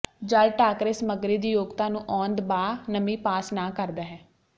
ਜਲ ਟਾਕਰੇ ਸਮੱਗਰੀ ਦੀ ਯੋਗਤਾ ਨੂੰ ਆਉਣ ਦਬਾਅ ਨਮੀ ਪਾਸ ਨਾ ਕਰਦਾ ਹੈ